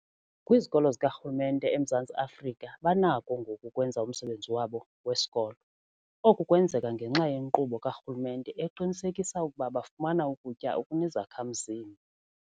Kwizikolo zikarhulumente eMzantsi Afrika banakho ngoku ukwenza umsebenzi wabo wesikolo. Oku kwenzeka ngenxa yenkqubo karhulumente eqinisekisa ukuba bafumana ukutya okunezakha-mzimba.